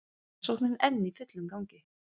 Rannsóknin enn í fullum gangi